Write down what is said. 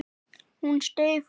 Hún steig fram.